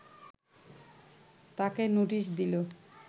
তাকে নোটিশ দিলে